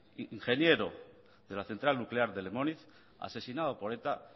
ingeniero de la central nuclear de lemoniz asesinado por eta